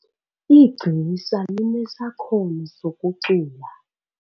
Igcisa linesakhono sokucula.